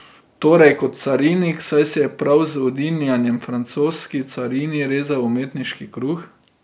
Torej kot Carinik, saj si je prav z udinjanjem francoski carini rezal umetniški kruh.